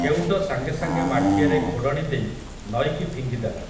କେଉଟ ସାଙ୍ଗେ ସାଙ୍ଗେ ମାଠିଆରେ ଘୋଡ଼ଣି ଦେଇ, ନଈକି ଫିଙ୍ଗିଦେଲା ।